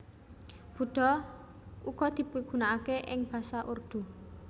Buddha uga dipigunakaké ing basa Urdu